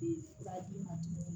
Ee fura d'i ma tuguni